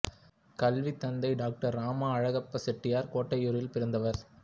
கல்வி தந்தை டாக்டர் ராம அழகப்பச் செட்டியார் கோட்டையூரில் பிறந்தவர்